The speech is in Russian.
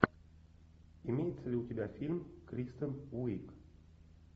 имеется ли у тебя фильм кристен уиг